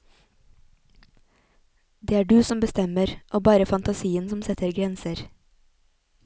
Det er du som bestemmer, og bare fantasien som setter grenser.